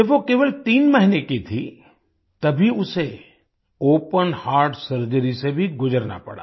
जब वो केवल तीन महीने की थी तभी उसे ओपन हर्ट सर्जरी से भी गुजरना पड़ा